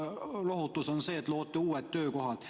Lohutus on see, et te loote uued töökohad.